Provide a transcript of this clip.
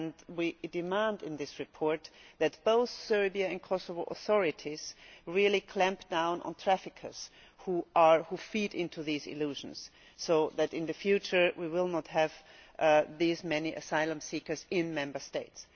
We demand in this report that both Serbia and the Kosovo authorities really clamp down on traffickers who feed into these illusions so that in the future we will not have these many asylum seekers in Member States.